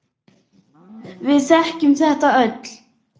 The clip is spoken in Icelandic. Við þekkjum þetta öll.